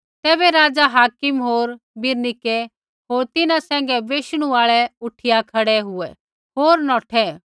तैबै राज़ा हाकिम होर बिरनीकै होर तिन्हां सैंघै बैशणू आल़ै उठिया खड़ै हुऐ होर नौठै